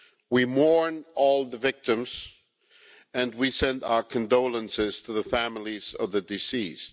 We mourn all the victims and we send our condolences to the families of the deceased.